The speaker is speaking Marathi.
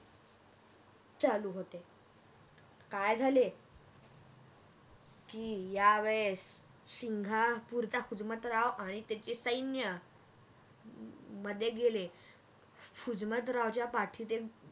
चालू होते अह काय झाले अह की यावेळेस सिंगापूरचे हुजमतराव आणि त्याचे सैन्य आह मध्ये गेले अह हुजमतरावच्या पाठीत एक